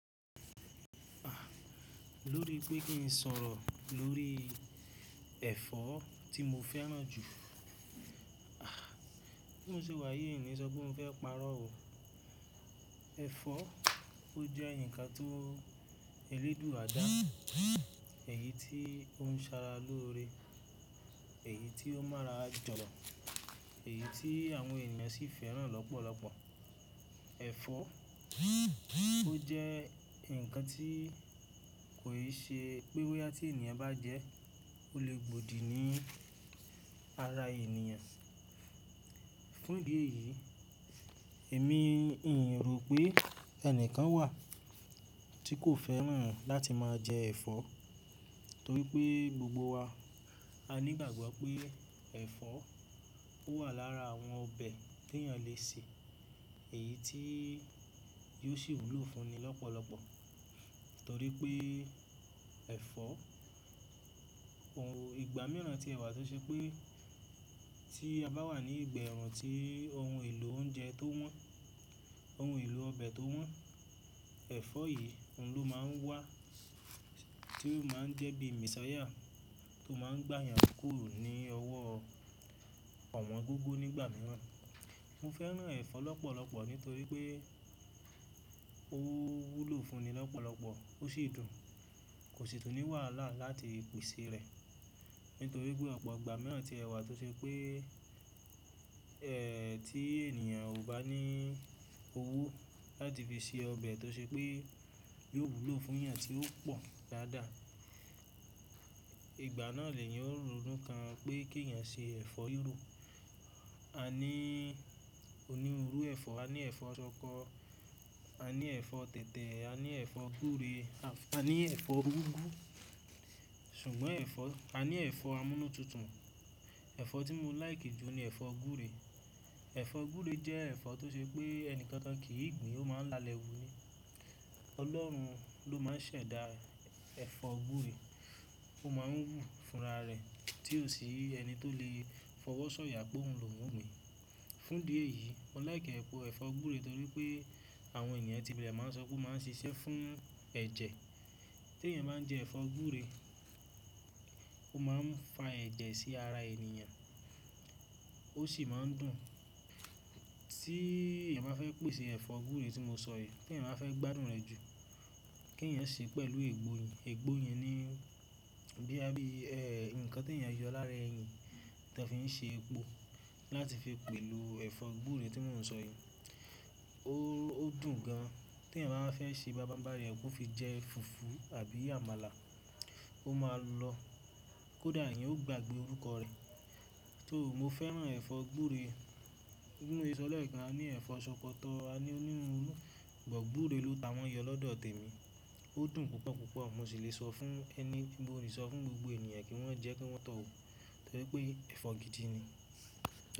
Lórí pé kí n sọ̀rọ̀ lórí ẹ̀fọ́ tí mo fẹ́ràn jù, ah bí mo ṣe wà yìí mi ni sọpé mó fẹ́ parọ́ o. Ẹ̀fọ́ ó jẹ́ ǹkan tó Elédùà dáa, èyí tí ó ń sara lóre èyí tí ó mara jọ̀lọ̀, èyí tí àwọn ènìyàn sì fẹ́ràn lọ́pọ̀lọpọ̀. Ẹ̀fọ́ ó jẹ́ ǹkan tí kòì ṣe pẹ́ bóyá tí ènìyàn bá jẹ, ó lè gbòdì ní ara ènìyàn. Fún ìdí èyí, èmi n rò pé ẹnìkan wà tí kò fẹ́ràn láti máa jẹ ẹ̀fọ́, torí pé gbogbo wa a ní ìgbàgbọ́ pé ẹ̀fọ́ ó wà lára àwọn ọbẹ̀ tí ènìyàn le se, èyí tí yóò ṣì wúlò fún ni lọ́pọ̀lọpọ̀. Torí pé ẹ̀fọ́, ìgbà mìíràn tí ẹwà tó ṣe pé tí a bá wà ní ìgbà ẹ̀run tí ohun èlò oúnjẹ tó wọ́n, ohun èlò ọbẹ̀ tó wọ́n, ẹ̀fọ́ yìí òun ló máa ń wà tí ó máa ń jẹ́ bíi messiah tó máa ń gbà yàn kúrò ní ọwọ́ owongogo nígbà mìíràn. Mo fẹ́ràn ẹ̀fọ́ lọ́pọ̀lọpọ̀ nítorí pé ó wúlò fún ni lọ́pọ̀lọpọ̀, ó sì dùn, kò sì tún ní wàhálà láti pèsè rẹ̀. Nítorí pé ọ̀pọ̀ ìgbà mìíràn tí ẹwà tó ṣe pé ẹ tí ènìyàn ò bá ní owó láti fi se ọbẹ̀ tó ṣe pé yóò wúlò fún yàn tí ó pọ̀ dáadáa. Ìgbà náà lè yẹn ó ronú kan pé kí eyàn ṣe ẹ̀fọ́ ríró. A ní onírúurú ẹ̀fọ́, a ní ẹ̀fọ́ ṣọkọ, a ní ẹ̀fọ́ tẹ̀tẹ̀, a ní ẹ̀fọ́ gúre, a ní ẹ̀fọ́ úgú, ṣùgbọ́n ẹ̀fọ́ a ní ẹ̀fọ́ amúnútutù. Ẹ̀fọ́ tí mo lìke jù ní ẹ̀fọ́ gúre. Ẹ̀fọ́ gúre jẹ́ ẹ̀fọ́ tó ṣe pé ẹnìkankan kiì gbìn ó máa ń lalẹ̀ wúni. Ọlọ́run ló máa ń ṣẹ̀dá ẹ̀fọ́ gúre, ó máa ń wù fún ara rẹ̀ tí ò sí ẹni tó le fọwọ́ sọ̀yà pé òun lòuń gbin. Fún ìdí èyí, mo like ẹ̀fọ́ gúre torí pé àwọn ènìyàn ti bẹ̀ẹ̀ máa ń sọ pé ó máa ń ṣiṣẹ́ fún ẹ̀jẹ̀. Tí ènìyàn bá ń jẹ ẹ̀fọ́ gúre, ó máa ń fa ẹ̀jẹ̀ sí ara ènìyàn, ó sì máa ń dùn. Tí ènìyàn bá fẹ́ pèsè ẹ̀fọ́ gúre tí mo sọ yìí, tí ènìyàn bá fẹ́ gbádùn rẹ̀ jù, kí ènìyàn ṣe pẹ̀lú ègbó, ègbó yẹn ni boya bi bíi ẹ̀ ǹkan tí èyàn yọ lára eyin tó fi ń ṣe epo láti fi pẹ̀lú ẹ̀fọ́ gúre tí mò ń sọ yìí. Ó dùn gan. Tí ènìyàn báwa fẹ́ ṣe bábábári rẹ̀, kó fi jẹ́ fùfú àbí àmàlà, ó máa lọ, kódà ènìyàn ó gbàgbé orúkọ rẹ̀. So mo fẹ́ràn ẹ̀fọ́ gúre, mo lè sọ lẹ̀kan a ní ẹ̀fọ́ ṣọkọtọ́, a ní onírúurú but gbure ló tawọ́n yọ lọ́dọ̀ tèmi. Ó dùn púpọ̀ púpọ̀, mo sì lè sọ fún ẹni, mo lè sọ fún gbogbo ènìyàn kí wọ́n jẹ́ kí wọ́n tọ́o wo torí pé ẹ̀fọ́ gidi ni.